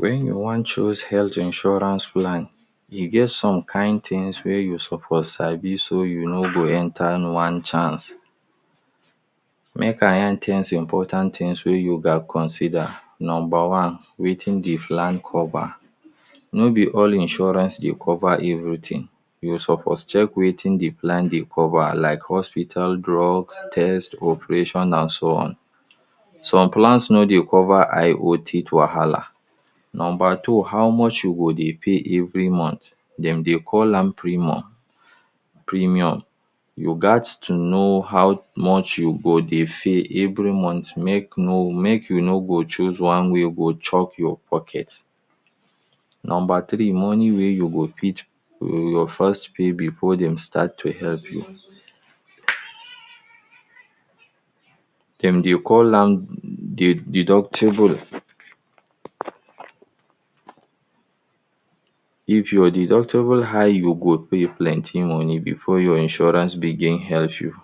Wen you wan choose health insurance plan, e get some kind things wey you suppose sabi so you no go enter one chance. Make I yarn ten important things wey you gat consider. Number one, wetin de plan cover. No be all insurance dey cover everything, you suppose check wetin de plan dey cover like hospital drugs, test, operation and so on. Some plans no dey cover eye or teeth wahala. Number two, how much you go dey pay every month. Dem dey call am premum premium. You gats to know how much you go dey pay every month, make no make you no go choose one wey go dey chop your pocket. Number three, money wey you go fit um you first pay before dem start to help you. Dem dey call am de deductible. If your deductible high, you go pay plenty money before your insurance begin help you.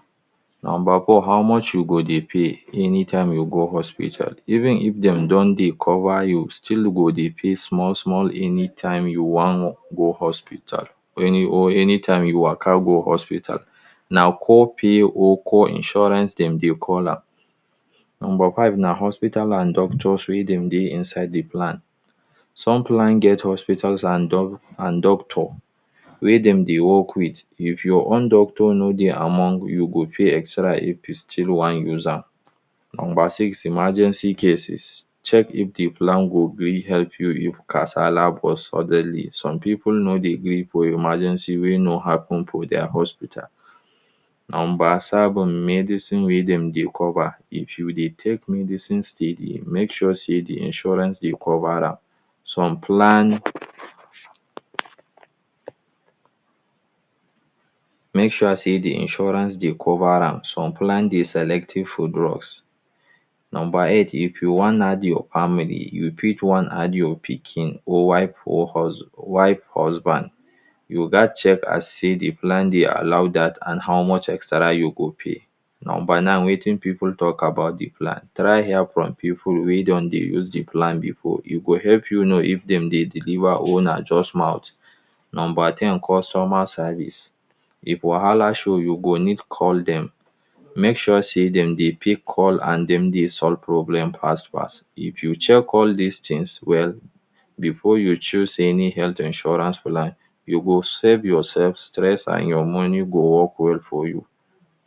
Number four, how much you go dey pay anytime you go hospital. Even if dem don dey cover, you still go dey pay small small anytime you wan go hospital or any or anytime you waka go hospital. Na core pay or core insurance dem dey call am. Number five na hospital and doctor fee if dem dey inside de plan. Some plan get hospital and doc and doctor wey dem dey work with. If your own doctor no dey among you go pay extra if you still wan use am. Number six, emergency cases. Check if de plan go gree help you if kasala burst suddenly. Some pipu no dey gree for emergency wey no happen for their hospital. Number seven, medicine wey dem dey cover. If you dey take medicine steady make sure sey de insurance dey cover am. Some plan, make sure sey de insurance dey cover am. Some plan dey selective for drugs. Number eight, if you wan add your family you fit wan add your pikin or wife or hus wife husband, you gats check and see de plan dey allow dat and how much extra you go pay. Number nine, wetin pipu talk about de plan. Try hear from pipu wey don dey use de plan before. E go help you know if dem dey deliver or na just mouth. Number ten, customer service. If wahala show you go need call dem, make sure say dem dey pick call and dem dey solve problem fast fast. If you check all these things well before you choose any health insurance plan, you go save yourself stress and your money go work well for you.